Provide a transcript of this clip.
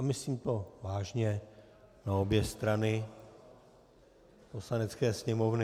A myslím to vážně na obě strany Poslanecké sněmovny...